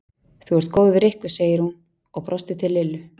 Þú ert góð við Rikku sagði hún og brosti til Lillu.